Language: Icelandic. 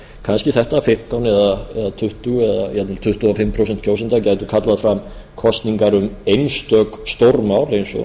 kannski þetta fimmtán eða tuttugu eða jafnvel tuttugu og fimm prósent kjósenda gætu kallað fram kosningar um einstök stórmál eins og